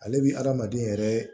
Ale bi adamaden yɛrɛ